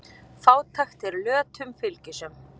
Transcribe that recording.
Fátækt er lötum fylgisöm.